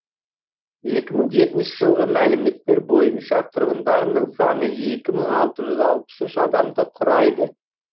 екі мың жетінші жылғы мәліметтер бойынша тұрғындарының саны екі мың алты жүз алпыс үш адамды құрайды